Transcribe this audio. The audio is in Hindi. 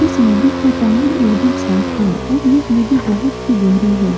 इस नदी का पानी एकदम साफ है और यह नदी बहुत ही गहरी है।